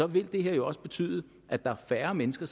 vil det her jo også betyde at der er færre mennesker